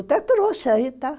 Até trouxe aí, tá?